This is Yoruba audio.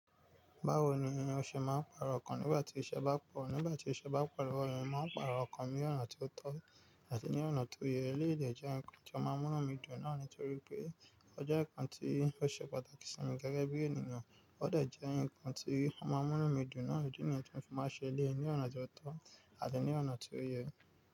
Báwo ni o ọ̀ṣẹ̀ máa ń pàrọ̀ ọkàn nígbà tí iṣẹ́ bá pọ̀, nígbà tí iṣẹ́ bá pọ̀ lówo mi, máa ń pàrọ̀ ọkàn ní ọ̀nà ti o tọ́ àti ní ọ̀nà to yẹ. Eleyii dẹ̀ jẹ́ ǹkan tí ó máa ń mú mí dùn náà nítorí pé ọ je ǹkan tí ó ṣe pàtàkì sí mi gẹ́gẹ́ bí ènìyàn, ó dà jẹ ǹkan tí ó máa ń mú mí dùn náà idi níyii ti mo ṣe máa ṣẹlẹ̀yi ní ọ̀nà tó tọ́ àti ní ọ̀nà tó yẹ.